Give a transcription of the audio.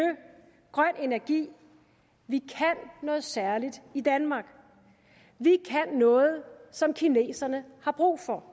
grøn energi vi kan noget særligt i danmark vi kan noget som kineserne har brug for